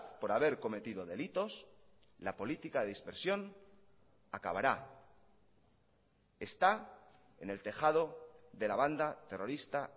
por haber cometido delitos la política de dispersión acabará está en el tejado de la banda terrorista